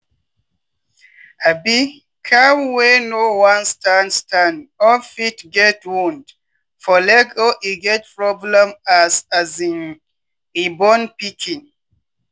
um cow wey no wan stand stand up fit get wound for leg or e get problem as um e born pikin.